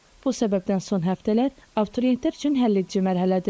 Bu səbəbdən son həftələr abituriyentlər üçün həlledici mərhələdir.